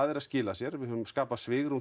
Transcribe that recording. er að skila sér við höfum skapað svigrúm